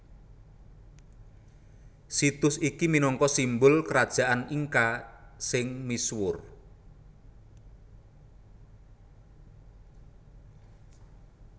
Situs iki minangka simbul Krajaan Inka sing misuwur